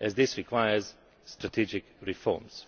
as it requires strategic reforms.